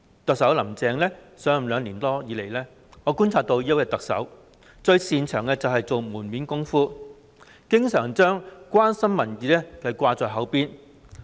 特首"林鄭"上任兩年多以來，我觀察到的是，這位特首最擅長做門面工夫，經常將"關心民意"掛在口邊。